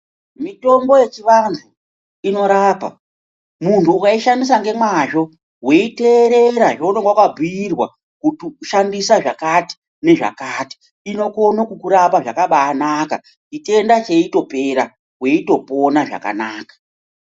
Mitombo yechivantu inorapa. Muntu ukaishandisa ngemazvo iweiteerera zvaunenge wakabhuiewa, kuti shandise zvakati nezvakati inokone kukurapa zvakabaanaka. Chitenda cheitopera weitopona zvakanaka.